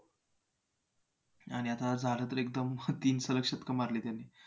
आणि आता झालं तर एकदम तीन सलग शतकं मारली त्याने